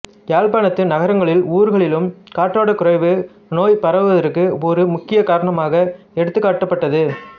யாழ்ப்பாணத்து நகரங்களிலும் ஊர்களிலும் காற்றோட்டக் குறைவு நோய் பரவுவதற்கு ஒரு முக்கியமான காரணமாக எடுத்துக்காட்டப்பட்டது